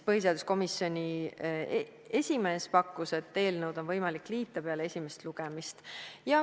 Põhiseaduskomisjoni esimees pakkus, et eelnõud on võimalik liita peale esimest lugemist.